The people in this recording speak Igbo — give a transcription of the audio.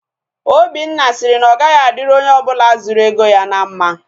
Obinna sịrị na ọ gaghị adịrị onye ọbụla zuru ego ya na mma